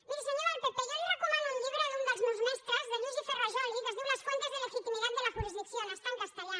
miri senyor del pp jo li recomano un llibre d’un dels meus mestres de luigi ferrajoli que es diu las fuentes de legitimidad de la jurisdicción està en castellà